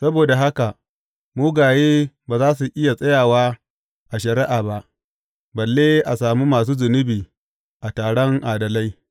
Saboda haka mugaye ba za su iya tsayawa a shari’a ba, balle a sami masu zunubi a taron adalai.